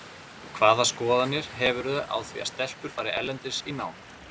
Hvaða skoðanir hefurðu á því að stelpur fari erlendis í nám?